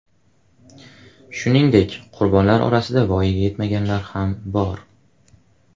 Shuningdek, qurbonlar orasida voyaga yetmaganlar ham bor.